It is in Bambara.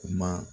Kuma